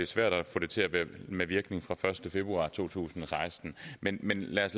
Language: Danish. svært at få det til at være med virkning fra den første februar to tusind og seksten men lad os